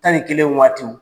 Tan ni kelen waatiw.